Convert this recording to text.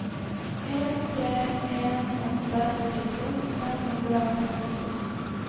en tre en åtte førtito seks hundre og sekstito